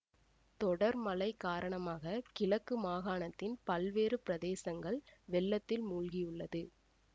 தொடர் மழை காரணமாக கிழக்கு மாகாணத்தின் பல்வேறு பிரதேசங்கள் வெள்ளத்தில் மூழ்கியுள்ளது